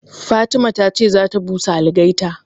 Fatima ta ce za ta busa algaita